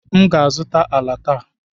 M ga-azụta ala taa.